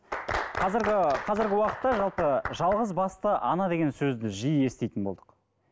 қазіргі қазіргі уақытта жалпы жалғызбасты ана деген сөзді жиі еститін болдық